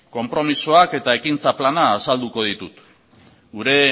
konpromezuak eta ekintza plana azalduko ditut gure